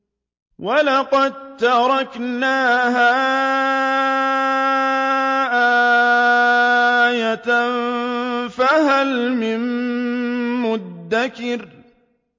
وَلَقَد تَّرَكْنَاهَا آيَةً فَهَلْ مِن مُّدَّكِرٍ